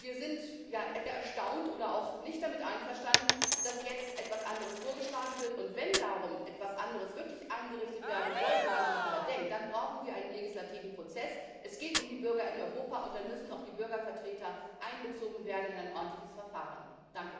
Wir sind sehr erstaunt und auch nicht damit einverstanden, dass jetzt etwas anderes vorgeschlagen wird, und wenn darum etwas anderes wirklich eingerichtet werden sollte und man darüber nachdenkt, dann brauchen wir einen legislativen Prozess. Es geht um die Bürger in Europa, und dann müssen auch die Bürgervertreter in ein ordentliches Verfahren einbezogen werden.